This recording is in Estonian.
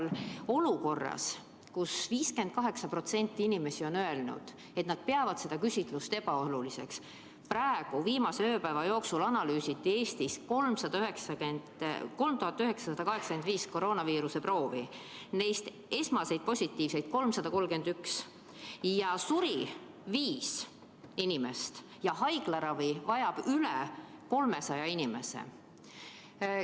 Oleme olukorras, kus 58% inimesi on öelnud, et nad peavad seda küsitlust ebaoluliseks, ning viimase ööpäeva jooksul analüüsiti Eestis 3985 koroonaviiruse proovi, neist esmaseid positiivseid oli 331, suri viis inimest ja haiglaravi vajab üle 300 inimese.